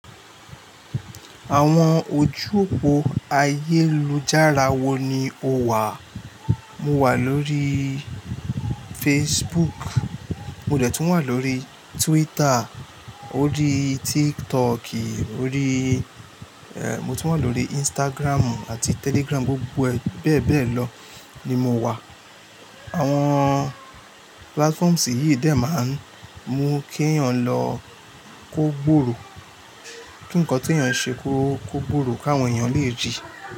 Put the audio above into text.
Àwọn ojú òpó ayélujára wo ni o wà? Mo wà lórí Facebook, mo dẹ̀ tún wà lórí Twitter, orí TikTok, mo tún wà lórí Instagram àti Telegram, gbogbo bẹ́ẹ̀ bẹ́ẹ̀ lọ ni mo wà. Àwọn platforms yìí dẹ̀ máa ń mú kí èèyàn lọ kó gbòòrò, kí nǹkan tí èèyàn ṣe kó gbòòrò ká awọn èèyàn lè rí.